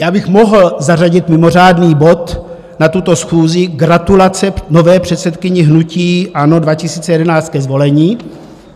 Já bych mohl zařadit mimořádný bod na tuto schůzi: Gratulace nové předsedkyni hnutí ANO 2011 ke zvolení.